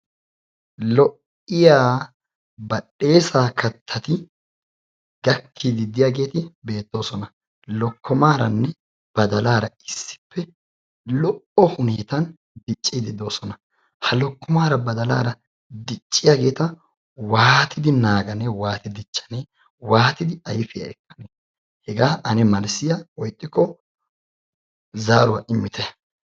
Lo"iya badhdheesaa kattati gakkiiddi de"iyageeti beettoosona. Lokkomaaranne badalaara issippe lo"o huneetan dicciiddi de"oosona. Ha lokkomaara badalaara dicciyageeta waatidi naaganee waatidi dichchanee waatidi ayfiya ekkane hegaa ane malssiya woykko zaaruwa immite.